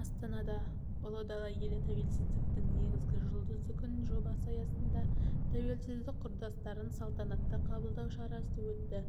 астанада ұлы дала елі тәуелсіздіктің негізі жұлдызды күн жобасы аясында тәуелсіздік құрдастарын салтанатты қабылдау шарасы өтті